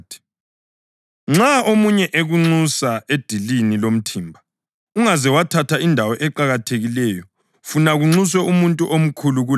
“Nxa omunye ekunxusa edilini lomthimba, ungaze wathatha indawo eqakathekileyo funa kunxuswe umuntu omkhulu kulawe.